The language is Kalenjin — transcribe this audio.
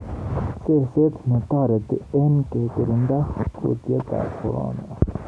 Seset ne toreti eng kekirinda kuutietab Corona.